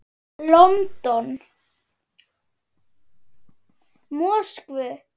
London, Moskvu.